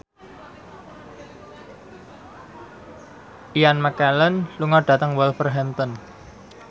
Ian McKellen lunga dhateng Wolverhampton